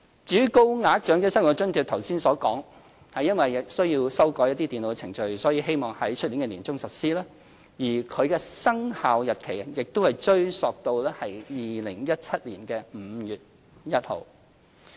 至於高額長者生活津貼，正如剛才所說，因需要修改電腦程序，我們希望在明年年中實施，而其生效日期亦會追溯至2017年5月1日。